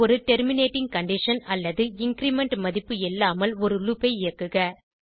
ஒரு terminating condition அல்லது increment மதிப்பு இல்லாமல் ஒரு லூப் ஐ இயக்குக